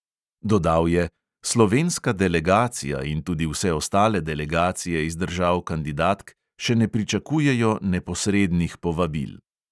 Dodal je: "slovenska delegacija in tudi vse ostale delegacije iz držav kandidatk še ne pričakujejo neposrednih povabil."